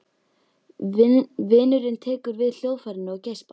Vinurinn tekur við hljóðfærinu og geispar.